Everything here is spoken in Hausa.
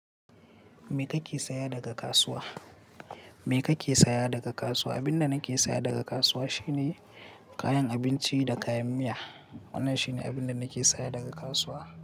Me kake saya daga kasuwa? Me kake saya daga kasuwa? Abin da nake saya daga kasuwa shine kayan abinci da kayan miya. Wannan shine abin da nake saya daga kasuwa.